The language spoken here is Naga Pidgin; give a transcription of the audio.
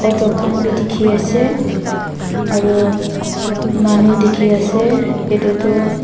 hotel khan b dikhi ase aru manu dikhi ase edu tu.